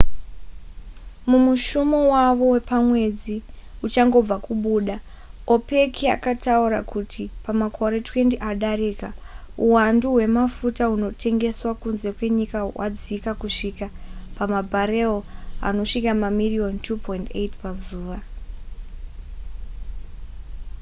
mumushumo wavo wepamwedzi uchangobva kubuda opec yakataura kuti pamakore 20 adarika uhwandu hwemafuta hunotengeswa kunze kwenyika hwadzika kusvika pamabharewo anosvika mamiriyoni 2,8 pazuva